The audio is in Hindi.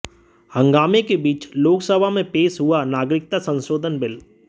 हंगामे के बीच लोकसभा में पेश हुआ नागरिकता संशोधन बिल